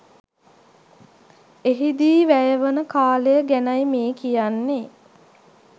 එහිදී වැයවන කාලය ගැනයි මේ කියන්නේ.